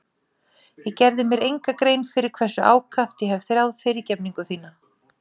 Ég gerði mér enga grein fyrir hversu ákaft ég hef þráð fyrirgefningu þína.